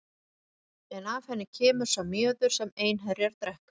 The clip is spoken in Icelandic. En af henni kemur sá mjöður sem einherjar drekka.